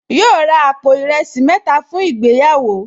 Yóò ra àpò ìrẹsì mẹ́ta fún ìgbéyàwó